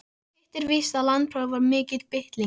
Hitt er víst að landsprófið var mikil bylting.